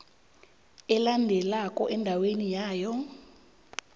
alandelako endaweni yawo